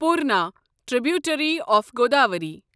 Purna tributary of Godavari